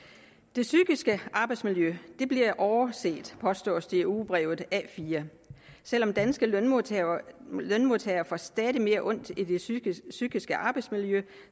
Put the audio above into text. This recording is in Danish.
det psykiske arbejdsmiljø bliver overset påstås det i ugebrevet a4 selv om danske lønmodtagere lønmodtagere får stadig mere ondt i det psykiske psykiske arbejdsmiljø